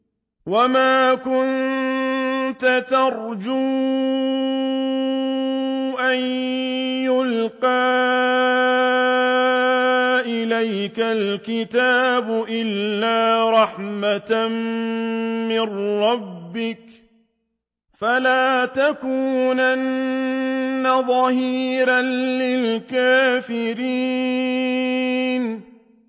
وَمَا كُنتَ تَرْجُو أَن يُلْقَىٰ إِلَيْكَ الْكِتَابُ إِلَّا رَحْمَةً مِّن رَّبِّكَ ۖ فَلَا تَكُونَنَّ ظَهِيرًا لِّلْكَافِرِينَ